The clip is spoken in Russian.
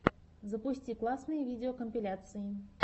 запусти классные видеокомпиляции